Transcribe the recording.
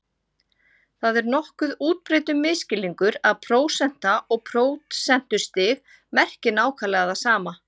Það er nokkuð útbreiddur misskilningur að prósenta og prósentustig merki nákvæmlega það sama.